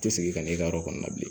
tɛ sigi ka n'i ka yɔrɔ kɔnɔna bilen